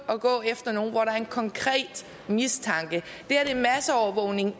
går efter nogen når der er en konkret mistanke det her er masseovervågning af